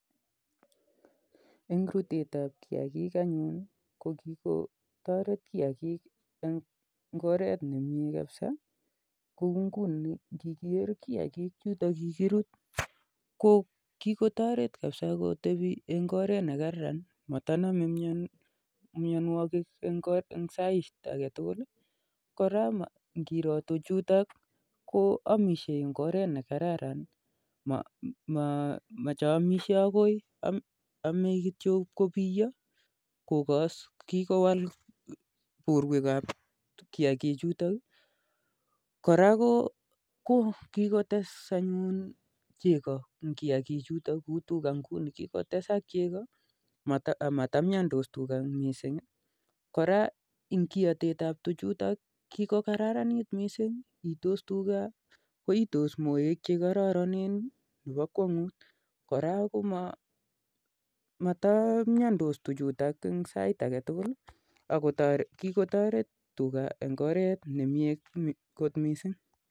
Eng rutetap kiyagik anyun ko kikotoret eng oret ne kararan kouu ngunii ngiker kiyakikchutok kikirut ko kikotoret kotbii eng oret ne kararan amatonomei mianwakik saiitage tukul koraa ngiroo tukchutok koamishei komyee ako iotetnwaa ko kararan got missing